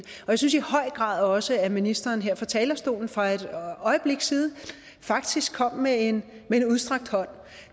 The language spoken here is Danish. synes i høj grad også at ministeren her fra talerstolen for et øjeblik siden faktisk kom med en udstrakt hånd